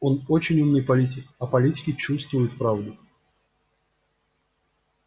он очень умный политик а политики чувствуют правду